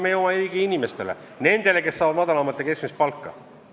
See on kasulik meie oma inimestele, nendele, kes saavad madalat või keskmist palka.